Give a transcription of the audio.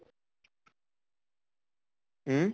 উম